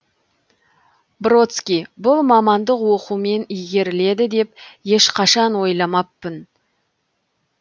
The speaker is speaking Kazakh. бродский бұл мамандық оқумен игеріледі деп ешқашан ойламаппын